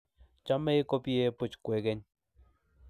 chomei kobie buch kwekeny